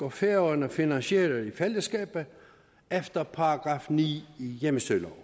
og færøerne finansierer i fællesskab efter § ni i hjemmestyreloven